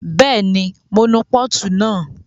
Bẹ́ẹ̀ni, mo nu pọ́ọ̀tù náà